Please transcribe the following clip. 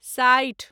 साठि